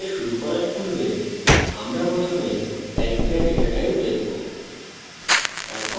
strings সাথে শুরু করার পূর্বে আমরা প্রথমে ক্যারেক্টার ডেটা type দেখব